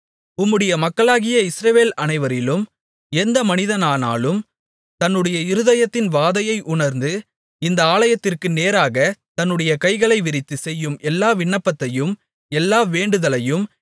உம்முடைய மக்களாகிய இஸ்ரவேல் அனைவரிலும் எந்த மனிதனானாலும் தன்னுடைய இருதயத்தின் வாதையை உணர்ந்து இந்த ஆலயத்திற்கு நேராகத் தன்னுடைய கைகளை விரித்துச் செய்யும் எல்லா விண்ணப்பத்தையும் எல்லா வேண்டுதலையும்